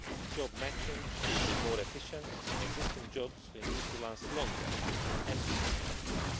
job matching should be more efficient and existing jobs will need to last longer and be more productive.